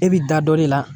E bi da dɔ de la